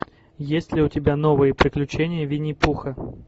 есть ли у тебя новые приключения винни пуха